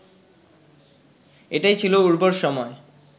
এটাই ছিল উর্বর সময়